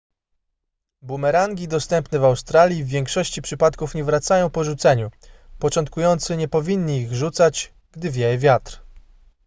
bumerangi dostępne w australii w większości przypadków nie wracają po rzuceniu początkujący nie powinni ich rzucać gdy wieje wiatr